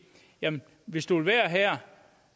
hvis du vil være her